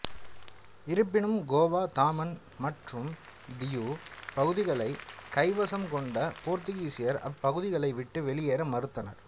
இருப்பினும் கோவா தாமன் மற்றும் தியு பகுதிகளை கைவசம் கொண்ட போத்திகீசியர் அப்பகுதிகளை விட்டு வெளியேற மறுத்தனர்